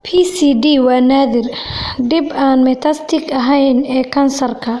PCD waa naadir, dhib aan metastatic ahayn ee kansarka.